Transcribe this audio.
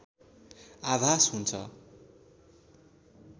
आभास हुन्छ